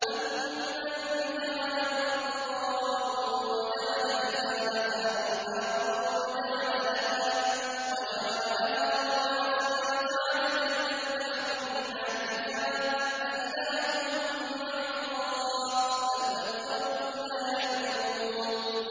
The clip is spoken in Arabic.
أَمَّن جَعَلَ الْأَرْضَ قَرَارًا وَجَعَلَ خِلَالَهَا أَنْهَارًا وَجَعَلَ لَهَا رَوَاسِيَ وَجَعَلَ بَيْنَ الْبَحْرَيْنِ حَاجِزًا ۗ أَإِلَٰهٌ مَّعَ اللَّهِ ۚ بَلْ أَكْثَرُهُمْ لَا يَعْلَمُونَ